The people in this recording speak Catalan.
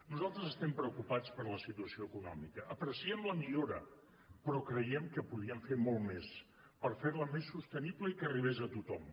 nosaltres estem preocupats per la situació econòmica apreciem la millora però creiem que podrien fer molt més per fer la més sostenible i que arribés a tothom